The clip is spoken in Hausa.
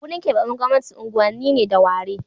Wurin keɓaɓɓen gwamnati unguwanni ne da ware